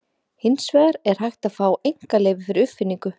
Hins vegar er hægt að fá einkaleyfi fyrir uppfinningu.